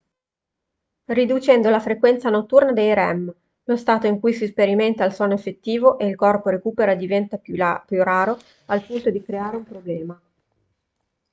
riducendo la frequenza notturna dei rem lo stato in cui si sperimenta il sonno effettivo e il corpo recupera diventa più raro al punto di creare un problema